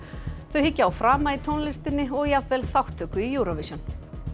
þau hyggja á frama í tónlistinni og jafnvel þátttöku í Eurovision